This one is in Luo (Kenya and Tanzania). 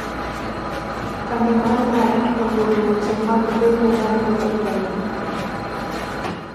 kambi mar Nike oluoro weche mag bembo maluoro Roni